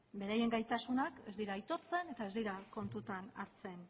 beraien gaitasunak ez dira aitortzen eta ez dira kontutan hartzen